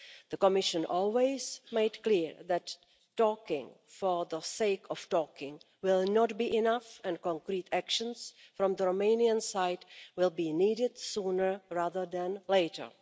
The Commission always made it clear that talking for the sake of talking will not be enough and concrete actions from the Romanian side will be needed sooner rather than later.